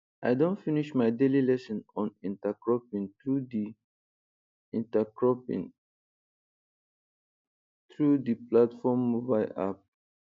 i Accepted finish my daily lesson on intercropping through di intercropping through di platform mobile app